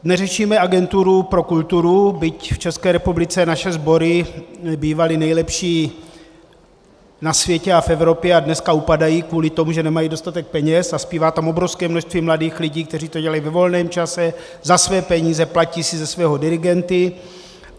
Neřešíme agenturu pro kulturu, byť v České republice naše sbory bývaly nejlepší na světě a v Evropě a dneska upadají kvůli tomu, že nemají dostatek peněz, a zpívá tam obrovské množství mladých lidí, kteří to dělají ve volném čase, za své peníze, platí si ze svého dirigenty.